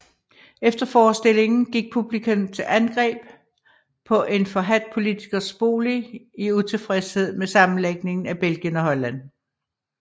Efter forestillingen gik publikum til angreb på en forhadt politikers bolig i utilfredshed med sammenlægningen af Belgien og Holland